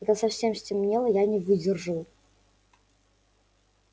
когда совсем стемнело я не выдержал